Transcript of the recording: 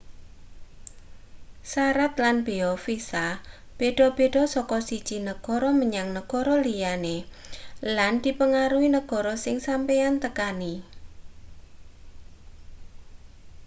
sarat lan beya visa beda-beda saka siji negara menyang negara liya lan dipangaruhi negara sing sampeyan tekani